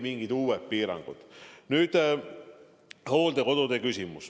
Nüüd hooldekodude küsimus.